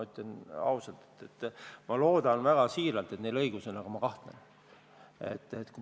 Ma ütlen ausalt, et ma loodan siiralt, et neil on õigus, aga ma kahtlen selles.